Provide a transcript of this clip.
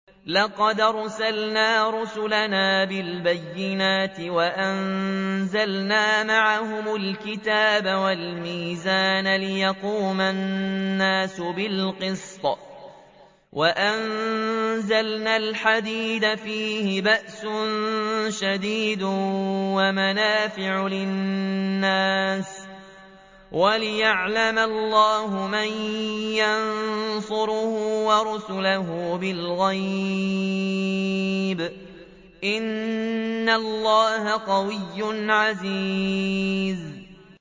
لَقَدْ أَرْسَلْنَا رُسُلَنَا بِالْبَيِّنَاتِ وَأَنزَلْنَا مَعَهُمُ الْكِتَابَ وَالْمِيزَانَ لِيَقُومَ النَّاسُ بِالْقِسْطِ ۖ وَأَنزَلْنَا الْحَدِيدَ فِيهِ بَأْسٌ شَدِيدٌ وَمَنَافِعُ لِلنَّاسِ وَلِيَعْلَمَ اللَّهُ مَن يَنصُرُهُ وَرُسُلَهُ بِالْغَيْبِ ۚ إِنَّ اللَّهَ قَوِيٌّ عَزِيزٌ